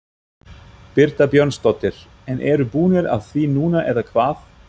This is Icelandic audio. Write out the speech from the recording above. Birta Björnsdóttir: En eru búnir af því núna eða hvað?